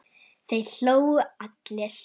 Þeir hlógu allir.